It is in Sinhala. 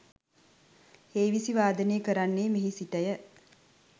හේවිසි වාදනය කරන්නේ මෙහි සිටය.